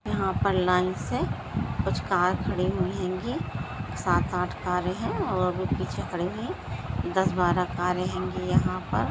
यहाँ पर लाइन से कुछ कार कड़ी रही हेंगी सात-आठ कारे है और वो पीछे खड़ी है दस-बारा कारे हेंगी यहाँ पर।